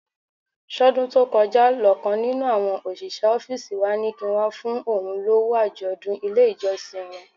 Ṣọ́dún tó kọjá lọ̀kan nínú àwọn òṣìṣẹ́ ọ́fíìsì wa ní kí n wá fún òun lówó àjọ̀dún ilé ìjọsìn wọn?